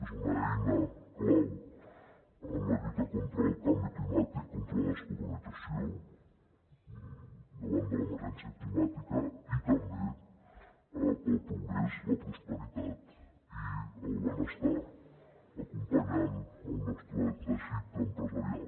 és una eina clau en la lluita contra el canvi climàtic contra la descarbonització davant de l’emergència climàtica i també per al progrés la prosperitat i el benestar acompanyant el nostre teixit empresarial